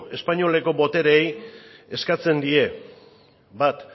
espainoleko botereei eskatzen die bat